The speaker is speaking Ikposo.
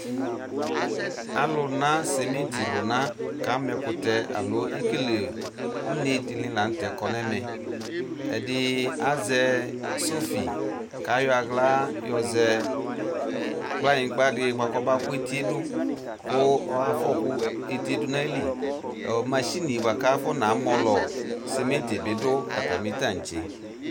Alʋna simiti lʋna kama ɛkʋtɛ alo ekele une dini lanʋ tɛ kɔ nʋ ɛmɛ ɛdɩ azɛ sofi kʋ ayɔ aɣla yɔzɛ kplanyigba di buakʋ abakʋ etiedʋ kʋ ayɔfɔkʋ etie dʋ nʋ ayili mashini bʋakʋ afɔna mɔlɔ simitidʋ dʋ atami tantse